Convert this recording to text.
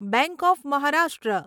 bank of Maharashtra